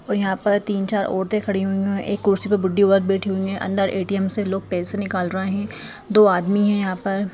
यहां पर तीन चार औरतों खड़ी हुई है एक कुर्सी पर बुड्ढी औरत बैठी हुई है अंदर ए_टी_एम से लोग पैसे निकाल रहे दो आदमी है यहां पर--